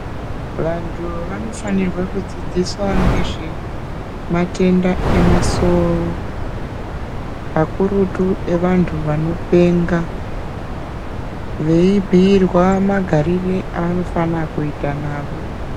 Vantu vanofanirwe kudzidziswa ngezvematenda emasoro, kakurutu evantu vanopenga ,veibhiirwa magarire evanofana kuita navo.